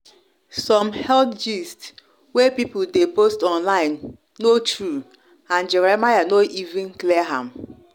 some health gist wey people dey post online no true and jeremiah no even clear am.